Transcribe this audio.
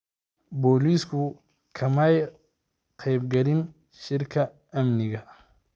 Booliisku kamay qaybgelin shirka amniga.